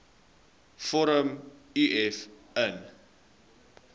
vorm uf invul